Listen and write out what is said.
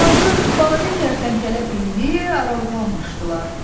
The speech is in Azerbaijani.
Yazıq balaca kərtənkələ billi aralığa almışdılar.